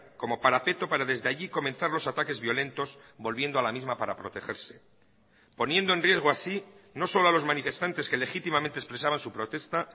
como parapeto para desde allí comenzar los ataques violentos volviendo a la misma para protegerse poniendo en riesgo así no solo a los manifestantes que legítimamente expresaban su protesta